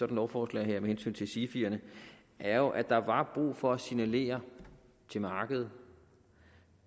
lovforslag her med hensyn til sifierne er jo at der var brug for at signalere til markedet